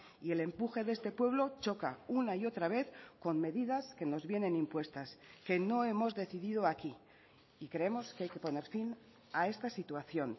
y el empuje de este pueblo choca una y otra vez con medidas que nos vienen impuestas que no hemos decidido aquí y creemos que hay que poner fin a esta situación